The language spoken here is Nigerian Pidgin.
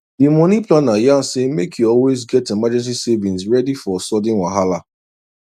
the money planner yarn say make you always get emergency savings ready for sudden wahala